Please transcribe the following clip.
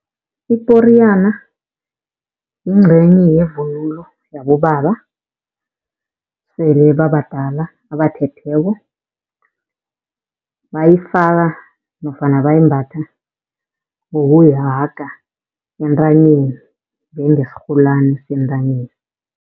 Iporiyana yincenye yevunulo yabobaba esele babadala abathetheko. Bayifaka nofana bayimbatha ngokuyihaga entanyeni njengesirholani sentanyeni.